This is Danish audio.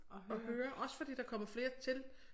At høre også fordi der kommer flere til